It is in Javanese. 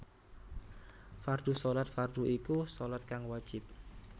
Fardhu Shalat fardhu iku shalat kang wajib